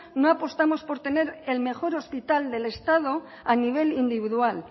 no apostamos por tener el mejor hospital del estado a nivel individual